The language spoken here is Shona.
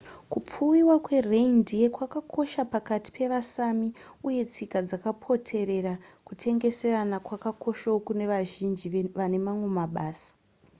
kupfuwiwa kwereindeer kwakakosha pakati pevasami uye tsika dzakapoterera kutengeserana kwakakoshawo kunevazhinji vanemamwe mabasa